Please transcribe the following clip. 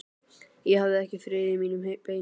Ég hafði ekki frið í mínum beinum.